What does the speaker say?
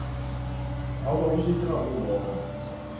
a o ba bušetše gagabobona